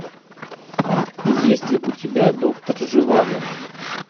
есть ли у тебя доктор живаго